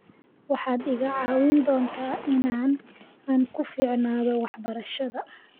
waxaad iga caawin doontaa inaan ku fiicnaado waxbarashada